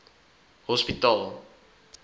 hospitaal